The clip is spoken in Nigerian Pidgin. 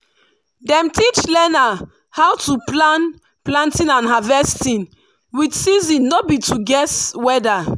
dem teach learner how to plan planting and harvesting with season no be to guess weather.